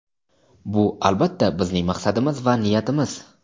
"Bu, albatta, bizning maqsadimiz va niyatimiz".